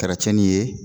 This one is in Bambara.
Kɛra cɛni ye